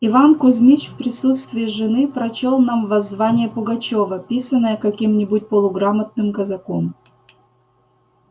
иван кузмич в присутствии жены прочёл нам воззвание пугачёва писанное каким-нибудь полуграмотным казаком